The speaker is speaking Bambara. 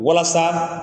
Walasa